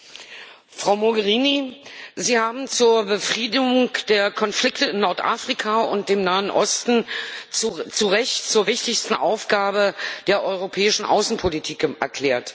Herr Präsident, Frau Mogherini! Sie haben die Befriedung der Konflikte in Nordafrika und dem Nahen Osten zu Recht zur wichtigsten Aufgabe der europäischen Außenpolitik erklärt.